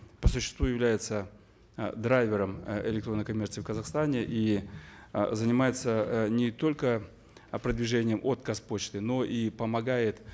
по существу является э драйвером э электронной коммерции в казахастане и э занимается э не только э продвижением от казпочты но и помогает